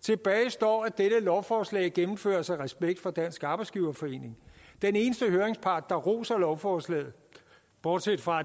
tilbage står at dette lovforslag gennemføres af respekt for dansk arbejdsgiverforening den eneste høringspart der roser lovforslaget bortset fra at